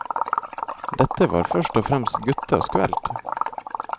Dette var først og fremst guttas kveld.